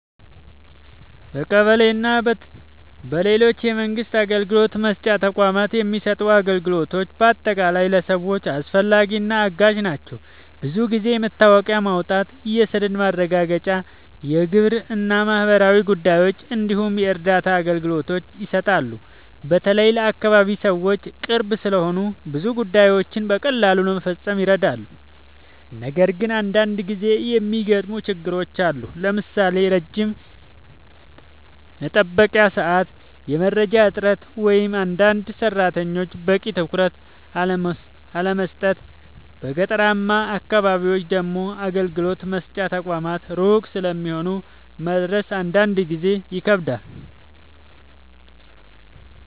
በቀበሌ እና በሌሎች የመንግስት አገልግሎት መስጫ ተቋማት የሚሰጡ አገልግሎቶች በአጠቃላይ ለሰዎች አስፈላጊ እና አጋዥ ናቸው። ብዙ ጊዜ የመታወቂያ ማውጣት፣ የሰነድ ማረጋገጫ፣ የግብር እና ማህበራዊ ጉዳዮች እንዲሁም የእርዳታ አገልግሎቶች ይሰጣሉ። በተለይ ለአካባቢ ሰዎች ቅርብ ስለሆኑ ብዙ ጉዳዮችን በቀላሉ ለመፈጸም ይረዳሉ። ነገር ግን አንዳንድ ጊዜ የሚገጥሙ ችግሮችም አሉ፣ ለምሳሌ ረጅም የመጠበቂያ ሰዓት፣ የመረጃ እጥረት ወይም አንዳንድ ሰራተኞች በቂ ትኩረት አለመስጠት። በገጠራማ አካባቢዎች ደግሞ አገልግሎት መስጫ ተቋማት ሩቅ ስለሚሆኑ መድረስ አንዳንድ ጊዜ ይከብዳል።